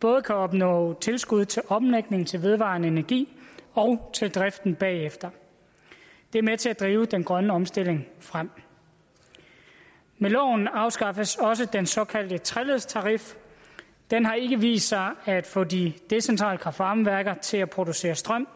både kan opnå tilskud til omlægning til vedvarende energi og til driften bagefter det er med til at drive den grønne omstilling frem med loven afskaffes også den såkaldte treledstarif den har ikke vist sig at få de decentrale kraft varme værker til at producere strøm